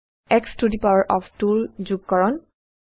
x to the power of 2 ৰ যোগকৰণ